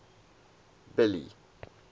billy